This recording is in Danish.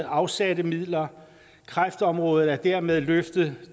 afsatte midler kræftområdet er dermed løftet